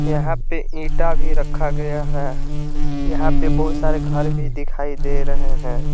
यहां पे ईटा भी रखा गया है यहां पे बहुत सारे घर भी दिखाई दे रहे हैं।